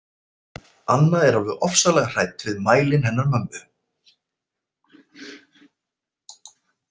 Anna er alveg ofsalega hrædd við mælinn hennar mömmu.